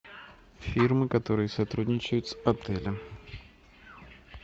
фирмы которые сотрудничают с отелем